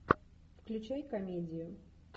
включай комедию